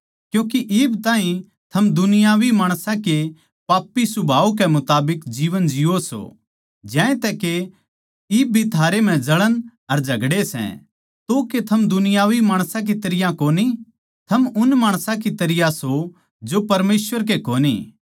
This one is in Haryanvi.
क्यूँके इब ताहीं थम दुनियावी माणसां के पापी सुभाव के मुताबिक जीवन जिओ सों ज्यांतै के इब भी थारै म्ह जळण अर झगड़े सै तो के थम दुनियावी माणस की तरियां कोनी थम उन माणसां की तरियां सों जो परमेसवर के कोनी